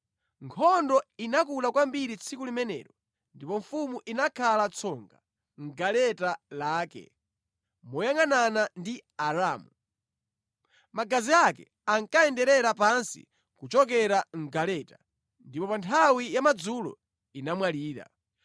Nkhondo inakula kwambiri tsiku limenelo, ndipo mfumu inakhala tsonga mʼgaleta lake moyangʼanana ndi Aaramu. Magazi ake ankayenderera pansi kuchokera mʼgaleta, ndipo pa nthawi ya madzulo inamwalira.